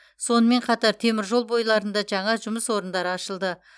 сонымен қатар темір жол бойларында жаңа жұмыс орындары ашылды